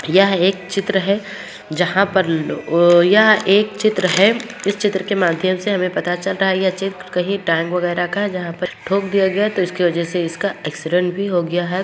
यह एक चित्र है जहाँ पर लो यह एक चित्र है इस चित्र के माध्यम से हमें पता चला रहा है यह चित्र कहीं टैंक वैगरह का है जहाँ पर इनको थोक दिया गया है तो इसकी वजह से इसका एक्सीडेंट भी हो गया है।